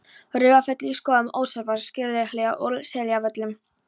Raufarfelli, í Skógum, Ásólfsskála, Skarðshlíð og á Seljavöllum.